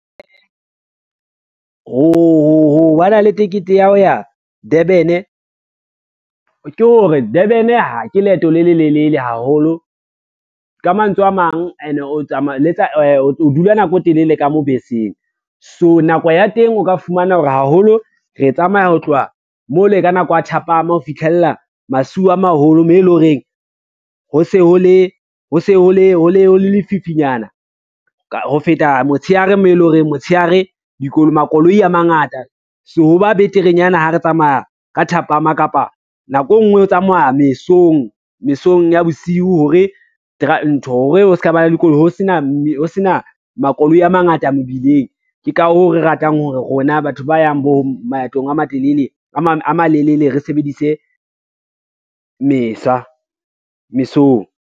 Ho ba na le tekete ya ho ya Durban, ke hore Durban ke leeto le lelelele haholo, ka mantswe a mang ene o dula nako e telele ka mo beseng. So nako ya teng o ka fumana hore haholo re e tsamaya ho tloha mo le ka nako ya thapama ho fihlella masiu a maholo moo e lo reng ho se ho le lefifinyana ho feta motshehare mo e lo reng motshehare makoloi a mangata, so ho ba beterenyana ha re tsamaya ka thapama kapa nako e ngwe ho tsamaya mesong, mesong ya bosiu hore ntho ho sena makoloi a mangata mobileng. Ke ka hoo re ratang hore rona batho ba yang bo maetong a malelele re sebedise mesong.